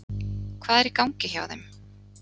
Hvað er í gangi hjá þeim?